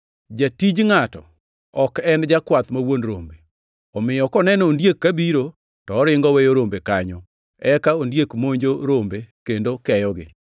Jatij ngʼato ok en jakwath ma wuon rombe. Omiyo koneno ondiek kabiro, to oringo oweyo rombe kanyo. Eka ondiek monjo rombe kendo keyogi.